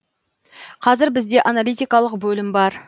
қазір бізде аналитикалық бөлім бар